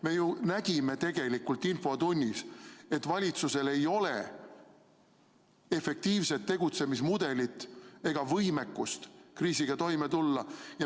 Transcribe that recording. Me ju nägime tegelikult infotunnis, et valitsusel ei ole efektiivset tegutsemismudelit ega võimekust kriisiga toime tulla.